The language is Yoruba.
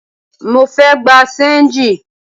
Mo fẹ́ gbà ṣéńjì